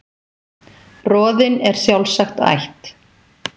Roðinn er sjálfsagt ætt